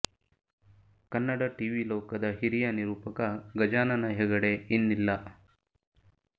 Kannada TV ಲೋಕದ ಹಿರಿಯ ನಿರೂಪಕ ಗಜಾನನ ಹೆಗಡೆ ಇನ್ನಿಲ್ಲ